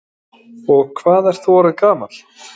Lillý Valgerður Pétursdóttir: Og hvað ert þú orðinn gamall?